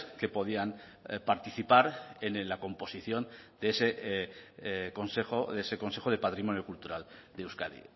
que podían participar en la composición de ese consejo de ese consejo de patrimonio cultural de euskadi